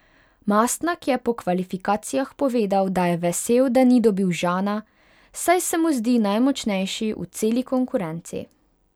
Mastnak je po kvalifikacijah povedal, da je vesel, da ni dobil Žana, saj se mu zdi najmočnejši v celi konkurenci.